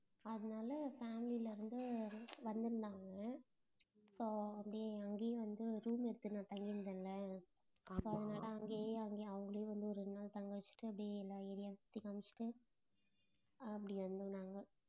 அதனால family ல இருந்து வந்திருந்தாங்க so அப்படியே அங்கேயே வந்து room எடுத்து நான் தங்கி இருந்தேன்ல அதனால அங்கேயே அங்கேயே அவங்களே வந்து ஒரு ரெண்டு நாள் தங்க வெச்சுட்டு அப்டியே எல்லா area வும் சுத்தி காமிச்சுட்டு அப்டி வந்தோம் நாங்க